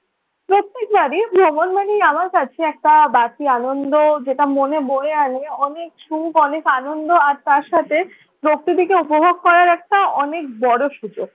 প্রত্যেক বারই ভ্রমণ মানে আমার কাছে বাড়তি আনন্দ যেটা মনে বয়ে আনে অনেক সুখ, অনেক আনন্দ আর তার সাথে প্রকৃতিকে উপভোগ করার একটা অনেক বড় সুযোগ।